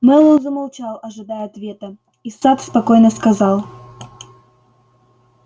мэллоу замолчал ожидая ответа и сатт спокойно сказал